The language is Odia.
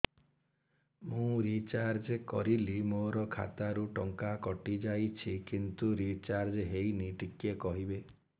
ମୁ ରିଚାର୍ଜ କରିଲି ମୋର ଖାତା ରୁ ଟଙ୍କା କଟି ଯାଇଛି କିନ୍ତୁ ରିଚାର୍ଜ ହେଇନି ଟିକେ କହିବେ